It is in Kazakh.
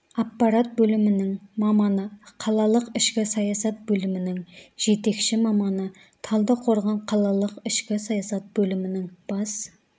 аппарат бөлімінің маманы қалалық ішкі саясат бөлімінің жетекші маманы талдықорған қалалық ішкі саясат бөлімінің бас